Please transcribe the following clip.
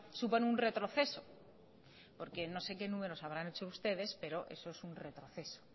supone un retroceso porque no sé qué números habrán hecho ustedes pero eso es un retroceso